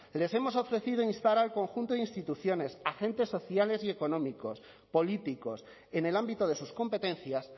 les hemos ofrecido instar al conjunto de instituciones agentes sociales y económicos políticos en el ámbito de sus competencias